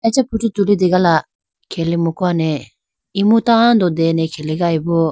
Acha photo tulitegala khele mukuwa ne imu tando dene khelegayi bo.